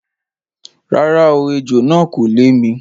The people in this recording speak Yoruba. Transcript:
Rárá o, ejò náà kò lè mi.